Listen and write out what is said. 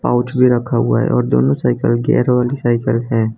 Pouch भी रखा हुआ है और दोनों साइकिल गियर वाली साइकिल है।